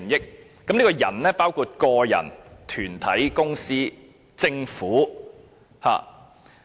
這裏提到的"人"，包括個人、團體、公司和政府。